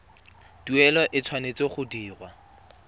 tuelo e tshwanetse go dirwa